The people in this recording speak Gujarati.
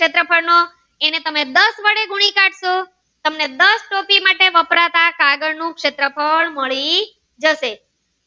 સેટ્રફ્લ નો એને તમે દસ વડે ગુણી કાઢશો તામેં દસ માટે વપરાતા કાગળ ઉ શેત્રફ્ળ મળી જશે